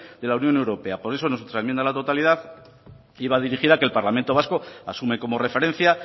de la unión europea por eso nuestra enmienda a la totalidad iba dirigida a que el parlamento vasco asume como referencia